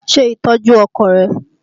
Ṣe ìtọ́jú ọkọ rẹ!